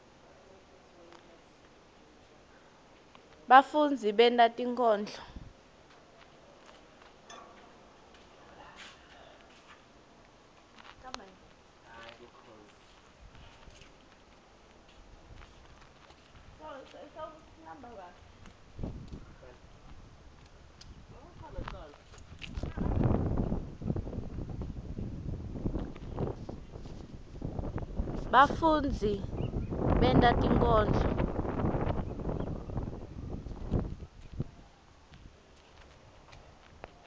bafundzi benta tinkondlo